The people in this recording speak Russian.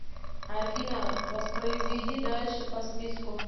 афина воспроизведи дальше по списку